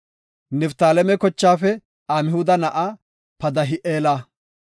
Niftaaleme kochaafe Amhuda na7aa Padahi7eela;